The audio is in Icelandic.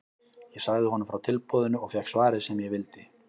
Ég sagði honum frá tilboðinu og fékk svarið sem ég vildi.